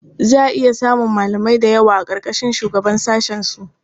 Za a iya samun malamai da yawa a ƙarƙashin shugaban sashensu.